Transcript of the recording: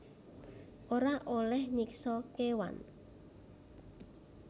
Ora olèh nyiksa kéwan